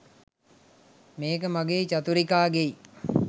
මේක මගෙයි චතුරිකාගෙයි